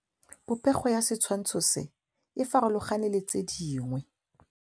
Popêgo ya setshwantshô se, e farologane le tse dingwe.